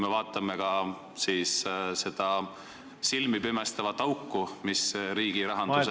Ja vaadakem ka seda silmipimestavat auku, mis riigirahanduses ...